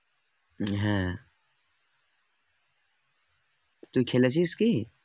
তুই খেলেছিস কি